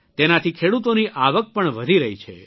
તેનાથી ખેડૂતોની આવક પણ વધી રહી છે